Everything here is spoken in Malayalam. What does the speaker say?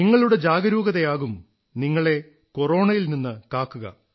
നിങ്ങളുടെ ജാഗരൂകതയാകും നിങ്ങളെ കൊറോണയിൽ നിന്ന് കാക്കുക